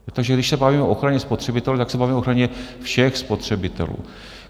Takže když se bavíme o ochraně spotřebitelů, tak se bavíme o ochraně všech spotřebitelů.